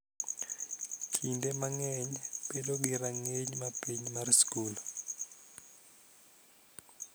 Kinde mang�eny bedo gi rang�iny ma piny mar skul.